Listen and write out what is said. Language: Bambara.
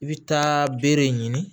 I bɛ taa bere ɲini